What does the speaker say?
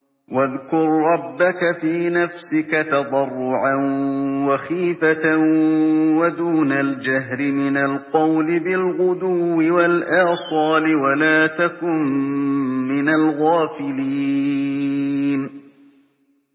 وَاذْكُر رَّبَّكَ فِي نَفْسِكَ تَضَرُّعًا وَخِيفَةً وَدُونَ الْجَهْرِ مِنَ الْقَوْلِ بِالْغُدُوِّ وَالْآصَالِ وَلَا تَكُن مِّنَ الْغَافِلِينَ